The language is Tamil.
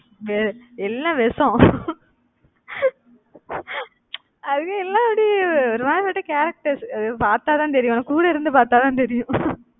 அஹ் எல்லாம் விஷம் அது எல்லாம் அப்படியே ஒரு மாதிரி அப்படி characters அதை பார்த்தாதான் தெரியும். கூட இருந்து பார்த்தாதான் தெரியும்